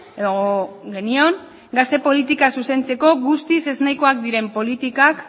edo genion gazte politika zuzentzeko guztiz ez nahikoak diren politikak